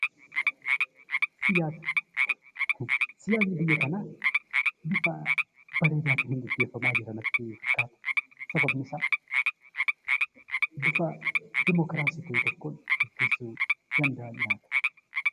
Siyaasa Siyaasni biyya kanaa bifa bareedaa ta'een geggeeffamaa jira natti fakkaata. Sababni isaa, bifa diimokiraasii ta'e tokkoon geggeessuu danda'anii laata?